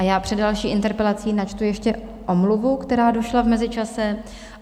A já před další interpelací načtu ještě omluvu, která došla v mezičase.